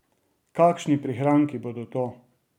Kakšni prihranki bodo to!